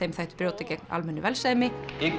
þættu brjóta gegn almennu velsæmi